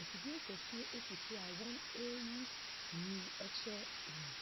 Afidie kɛseɛ esi so a wɔn eeyi sini ɛkyerɛ wɔn.